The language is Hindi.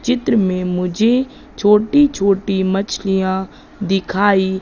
चित्र में मुझे छोटी छोटी मछलियां दिखाई--